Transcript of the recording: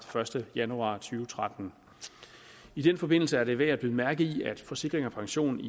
første januar to tusind og tretten i den forbindelse er det værd at bide mærke i at forsikring pension i